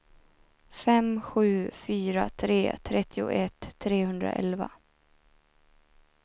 fem sju fyra tre trettioett trehundraelva